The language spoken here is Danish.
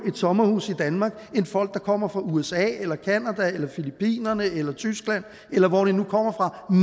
et sommerhus i danmark end folk der kommer fra usa eller canada eller filippinerne eller tyskland eller hvor de nu kommer fra